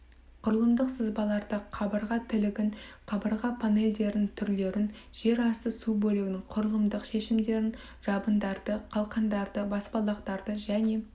құрылымдық сызбаларды қабырға тілігін қабырға панельдердің түрлерін жер асты бөлігінің құрылымдық шешімдерін жабындарды қалқандарды баспалдақтарды және